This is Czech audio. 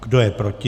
Kdo je proti?